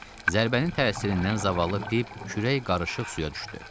Zərbənin təsirindən zavallı Pip, kürək qarışıq suya düşdü.